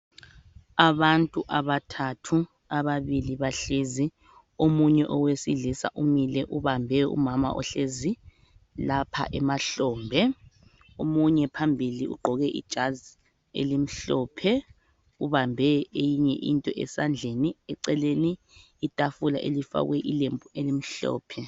Abantu abathathu. Ababili bahlezi. Omunye owesilisa umile, ubambe umama ohlezi lapha emahlombe. Omunye phambili ugqoke ijazi elimhlophe. Ubambe ieyinye into esandleni. Eceleni itafula elifakwe ilembu elimhlophe.